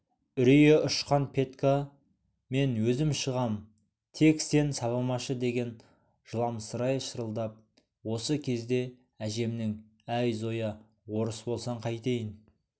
үрейі ұшқан петька мен өзім шығам тек сен сабамашы деген жыламсырай шырылдап осы кезде әжемнің әй зоя орыс болсаң қайтейін